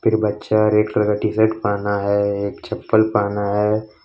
बच्चा red colour का T shirt पहना है एक चप्पल पहना है।